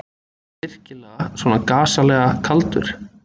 Ertu virkilega svona gasalega kaldur.